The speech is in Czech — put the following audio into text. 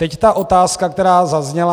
Teď ta otázka, která zazněla.